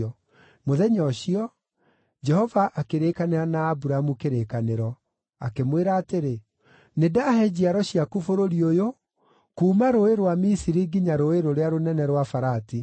Mũthenya ũcio, Jehova akĩrĩĩkanĩra na Aburamu kĩrĩkanĩro, akĩmwĩra atĩrĩ, “Nĩndahe njiaro ciaku bũrũri ũyũ, kuuma rũũĩ rwa Misiri nginya rũũĩ rũrĩa rũnene rwa Farati: